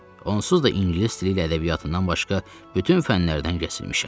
Onsuz da ingilis dili ilə ədəbiyyatından başqa bütün fənlərdən kəsilmişəm.